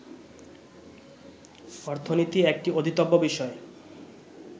অর্থনীতি একটি অধীতব্য বিষয়